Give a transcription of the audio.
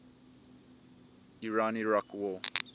iran iraq war